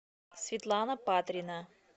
светлана патрина